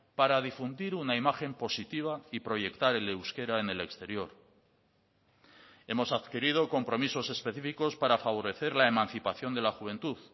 para difundir una imagen positiva y proyectar el euskera en el exterior hemos adquirido compromisos específicos para favorecer la emancipación de la juventud